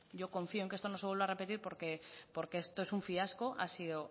yo confío en que esto no se vuelva a repetir porque esto es un fiasco ha sido